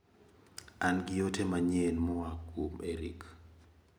An gi ote manyien mowuok kuom Eric.